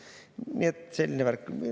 Nii et selline värk.